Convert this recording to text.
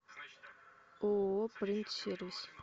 ооо принт сервис